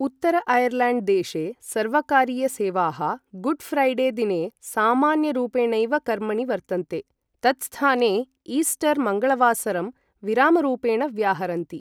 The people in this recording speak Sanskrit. उत्तर ऐर्लेण्ड् देशे सर्वकारीयसेवाः गुड् ऴ्रैडे दिने सामान्यरूपेणैव कर्मणि वर्तन्ते, तत् स्थाने ईस्टर् मङ्गलवासरम् विरामरूपेण व्याहरन्ति।